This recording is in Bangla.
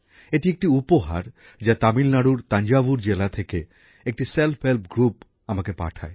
এটি একটি উপহার যা তামিলনাড়ুর তাঞ্জাভুর জেলা থেকে একটি স্বনির্ভর গোষ্ঠী আমাকে পাঠায়